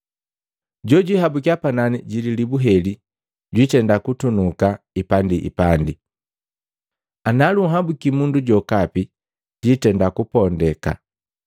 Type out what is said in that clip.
Jojwiiabukia panani ji lilibu heli jwitenda kutunuka ipandiipandi, ana lunhabuki mundu jokapi, jwitenda kupondeka.